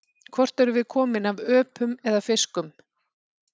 Hvort erum við komin af öpum eða fiskum?